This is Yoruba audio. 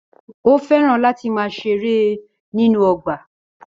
Ó fẹ́ràn láti máà ṣeré nínú ọgbà